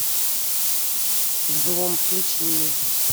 взлом включи мне